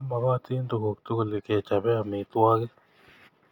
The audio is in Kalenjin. Kimakotin tukuk tugul kechope amitwogik